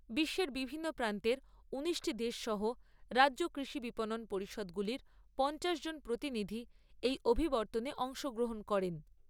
বিশ্বের বিভিন্ন প্রান্তের উনিশটি দেশ সহ রাজ্য কৃষি বিপণন পরিষদগুলির পঞ্চাশ জন প্রতিনিধি এই অভিবর্তনে অংশগ্রহণ করেন।